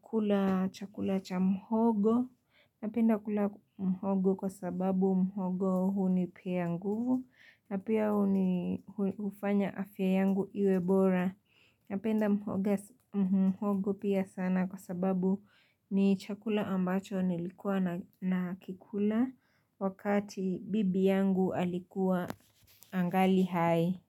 kula chakula cha mhogo. Napenda kula mhogo kwa sababu mhogo hunipea nguvu na pia huni hufanya afya yangu iwe bora. Napenda mhogo pia sana kwa sababu ni chakula ambacho nilikuwa na kikula wakati bibi yangu alikuwa angali hai.